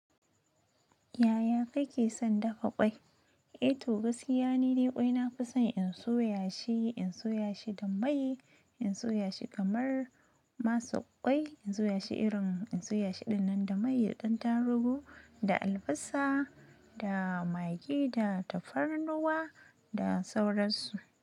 Yaya kake son dafa kwai? Eh to gaskiya ni de kwai nafi son in soya shi, in soya shi da mai, in soya shi kamar masar kwai, in soya shi irin in soya shi dinnan da mai, da ɗan tarugu, da albasa, da magi, da tafarnuwa da sauransu.